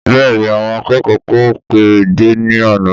Bẹ́ẹ̀ni àwọn akẹ́kọ̀ọ́ kò pé dé ní àná